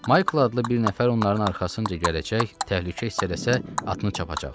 Maykl adlı bir nəfər onların arxasınca gələcək, təhlükə hiss eləsə atını çapacaqdı.